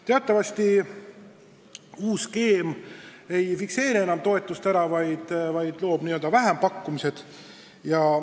Teatavasti uus skeem ei fikseeri enam kindlat toetust, vaid toob kaasa vähempakkumised.